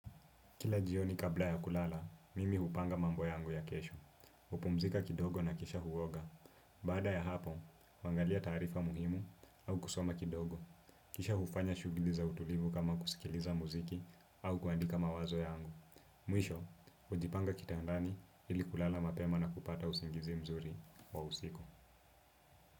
Kila jioni kabla ya kulala, mimi hupanga mambo yangu ya kesho. Hupumzika kidogo na kisha huoga. Baada ya hapo, huangalia taarifa muhimu au kusoma kidogo. Kisha hufanya shughuli za utulivu kama kusikiliza muziki au kuandika mawazo yangu. Mwisho, hujipanga kitandani ili kulala mapema na kupata usingizi mzuri wa usiku.